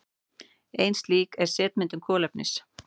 Ein slík er setmyndun kolefnis.